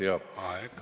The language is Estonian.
Aeg!